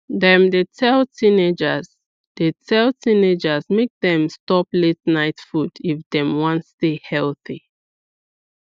dem dey tell teenagers dey tell teenagers make dem stop la ten ight food if dem wan stay healthy